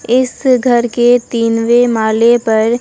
इस घर के तीनवे माले पर--